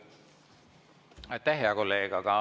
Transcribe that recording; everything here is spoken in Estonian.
Aitäh, hea kolleeg!